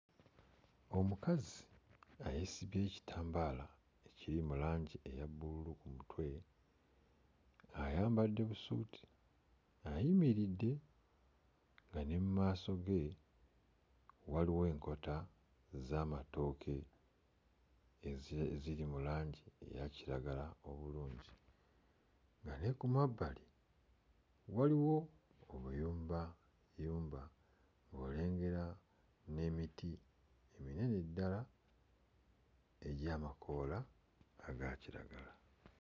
Omukazi nga yeesibye ekitambaala ekiri mu langi eya bbululu ku mutwe, ayambadde busuuti ayimiridde nga ne mmaaso ge waliwo enkota ez'amatooke eze ziri mu langi eya kiragala obulungi nga ne ku mabbali waliwo obuyumbayumba ng'olengera n'emiti eminene ddala egy'amakoola aga kiragala.